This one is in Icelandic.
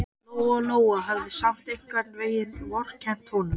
Lóa-Lóa hafði samt einhvern veginn vorkennt honum.